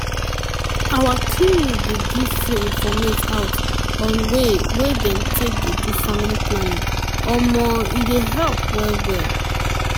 wen peson sabi way dem wey dem take dey do family planning[um]fit comot serious gbege for peson future o.